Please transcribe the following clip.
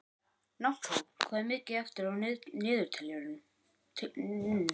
Náttsól, hvað er mikið eftir af niðurteljaranum?